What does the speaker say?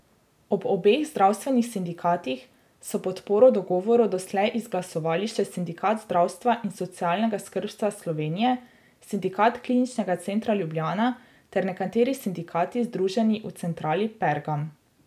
Ob obeh zdravstvenih sindikatih so podporo dogovoru doslej izglasovali še Sindikat zdravstva in socialnega skrbstva Slovenije, Sindikat Kliničnega centra Ljubljana ter nekateri sindikati, združeni v centrali Pergam.